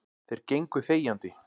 Þeir gengu þegjandi.